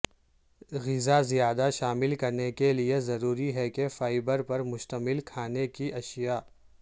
غذا زیادہ شامل کرنے کے لئے ضروری ہے کہ فائبر پر مشتمل کھانے کی اشیاء